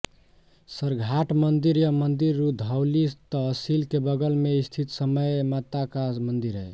सरघाट मंदिर यह मंदिर रुधौली तहसील के बगल में स्थित समय माता का मंदिर है